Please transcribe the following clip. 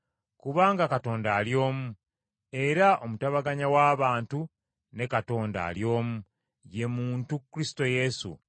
Kubanga Katonda ali omu, era omutabaganya w’abantu ne Katonda ali omu, ye muntu Kristo Yesu,